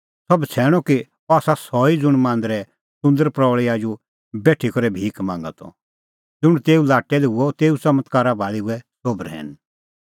सह बछ़ैणअ कि अह आसा सह ई ज़ुंण मांदरे सुंदर प्रऊल़ी आजू बेठी करै भिख मांगा त ज़ुंण तेऊ लाट्टै लै हुअ तेऊ च़मत्कारा भाल़ी हुऐ सोभ रहैन